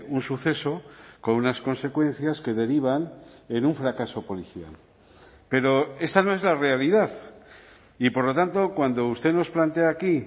un suceso con unas consecuencias que derivan en un fracaso policial pero esta no es la realidad y por lo tanto cuando usted nos plantea aquí